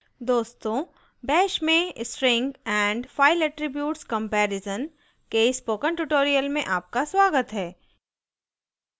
दोस्तों bash में string and file attributes comparison के spoken tutorial में आपका स्वागत है